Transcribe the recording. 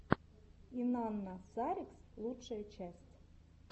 инанна саркис лучшая часть